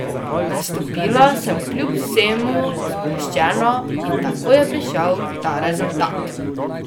Nastopila sem kljub vsemu sproščeno in tako je prišel ta rezultat.